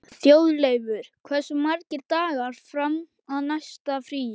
Þjóðleifur, hversu margir dagar fram að næsta fríi?